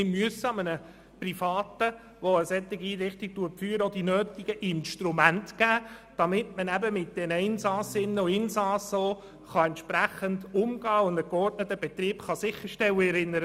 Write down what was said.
Und wir müssen Privaten, die eine solche Einrichtung führen, auch die nötigen Instrumente zur Verfügung stellen, damit mit den Insassinnen und Insassen auch entsprechend umgegangen werden und ein geordneter Betrieb sichergestellt werden kann.